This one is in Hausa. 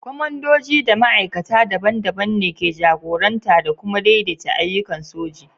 Kwamandoji a matakai daban-daban ne ke jagoranta da kuma daidaita ayyukan soji.